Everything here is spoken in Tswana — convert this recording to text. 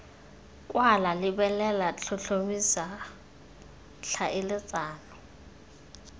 kwala lebelela tlhotlhomisa jj tlhaeletsano